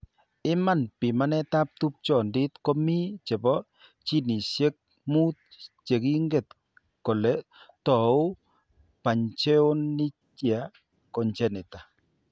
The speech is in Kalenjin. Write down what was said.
Iman, pimanetab tupchondit ko mi chebo ginishek mut che kinget kole tou pachyonychia congenita.